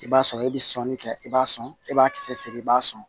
I b'a sɔrɔ e bɛ sɔnni kɛ i b'a sɔn e b'a kisɛ i b'a sɔn